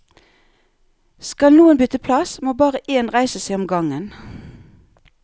Skal noen bytte plass, må bare én reise seg om gangen.